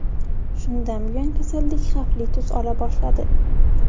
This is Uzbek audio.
Shundan buyon kasallik xavfli tus ola boshladi.